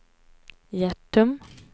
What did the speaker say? Hjärtum